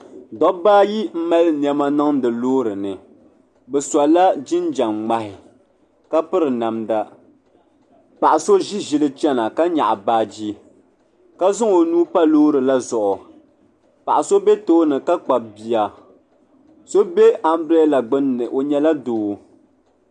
Dobba ayi m mali niɛma niŋdi loori ni bɛ sola jinjiɛm ŋmani ka piri namda paɣ'so ʒi ʒili chana ka nyaɣi baaji ka zaŋ o nuu pa loori la zuɣu paɣ'so be tooni ka kpabi bia so be ambilada gbini o nyɛla doo.